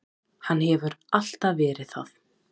Hann hefur alltaf verið það.